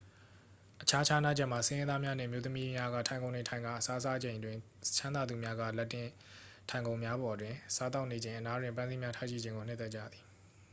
အခြားခြားနားချက်မှာ ဆင်းရဲသားများနှင့် အမျိုးသမီးက ထိုင်ခုံတွင် ထိုင်ကာ အစားစားချိန်တွင် ချမ်းသာသူများက လက်တင်ထိုင်ခုံများပေါ်တွင် စားသောက်နေချိန် အနားတွင် ပန်းစည်းများထားရှိခြင်းကို နှစ်သက်ကြသည်